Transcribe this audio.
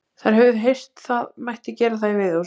Þær höfðu heyrt það mætti gera það í veiðihúsi.